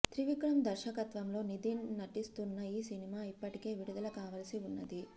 త్రివిక్రమ్ దర్శకత్వంలో నితిన్ నటిస్తున్న ఈ సినిమా ఇప్పటికే విడుదల కావలసి ఉన్నది